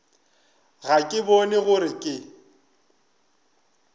ga ke bone gore ke